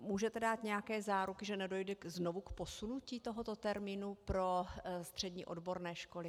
Můžete dát nějaké záruky, že nedojde znovu k posunutí tohoto termínu pro střední odborné školy?